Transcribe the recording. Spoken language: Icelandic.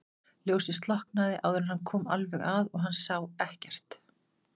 Ljósið slokknaði áður en hann kom alveg að og hann sá ekkert.